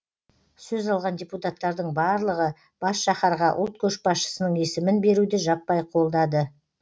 сөз алған депутаттардың барлығы бас шаһарға ұлт көшбасшысының есімін беруді жаппай қолдады